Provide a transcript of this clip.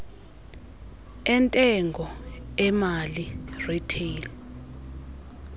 entengo emali retail